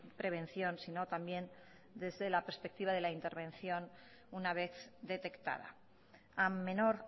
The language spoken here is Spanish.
prevención sino también desde la perspectiva de la intervención una vez detectada a menor